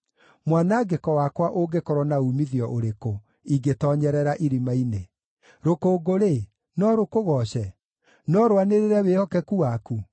“Mwanangĩko wakwa ũngĩkorwo na uumithio ũrĩkũ, ingĩtoonyerera irima-inĩ? Rũkũngũ-rĩ, no rũkũgooce? No rwanĩrĩre wĩhokeku waku?